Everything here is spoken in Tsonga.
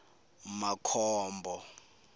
makhombo